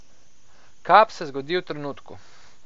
Kap se zgodi v trenutku.